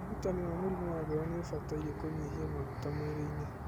ũrigitani wa mũrimũ wa ngoro noũbatare kũnyihia maguta mwĩrĩ-inĩ